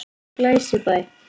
Glæsibæ